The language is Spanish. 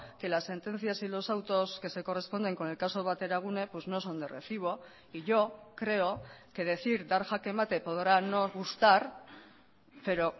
que las sentencias y los autos que se corresponden con el caso bateragune no son de recibo y yo creo que decir dar jaque mate podrá no gustar pero